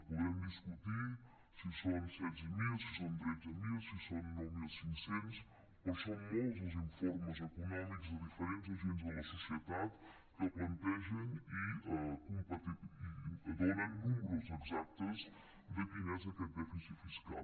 podrem discutir si són setze mil si són tretze mil si són nou mil cinc cents però són molts els informes econòmics de diferents agents de la societat que plantegen i donen números exactes de quin és aquest dèficit fiscal